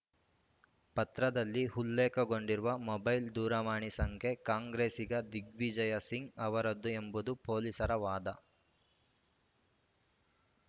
ಪತ್ರದಲ್ಲಿ ಉಲ್ಲೇಖಗೊಂಡಿರುವ ಮೊಬೈಲ್‌ ದೂರವಾಣಿ ಸಂಖ್ಯೆ ಕಾಂಗ್ರೆಸ್ಸಿಗ ದಿಗ್ವಿಜಯ ಸಿಂಗ್‌ ಅವರದ್ದು ಎಂಬುದು ಪೊಲೀಸರ ವಾದ